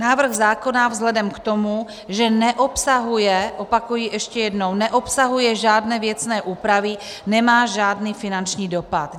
Návrh zákona vzhledem k tomu, že neobsahuje, opakuji ještě jednou, neobsahuje žádné věcné úpravy, nemá žádný finanční dopad.